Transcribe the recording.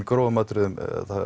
grófum atriðum